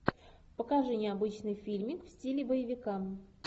покажи необычный фильмик в стиле боевика